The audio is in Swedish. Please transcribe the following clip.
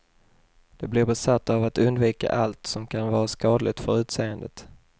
De blir besatta av att undvika allt som kan vara skadligt för utseendet.